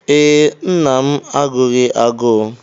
Ee, nna m agụghị agụụ.